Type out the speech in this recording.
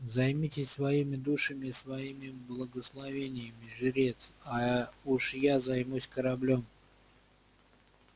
займитесь своими душами и своими благословениями жрец а уж я займусь кораблём